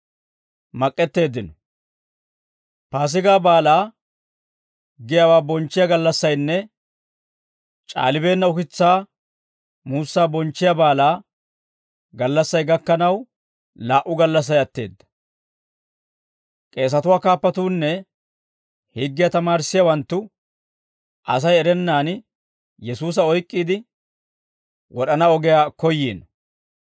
Paasigaa Baalaa giyaawaa bonchchiyaa gallassaynne C'aalibeenna ukitsaa muussaa bonchchiyaa baalaa gallassay gakkanaw laa"u gallassay atteedda; k'eesatuwaa kaappatuunne higgiyaa tamaarissiyaawanttu Asay erennaan Yesuusa oyk'k'iide wod'ana ogiyaa koyyiino.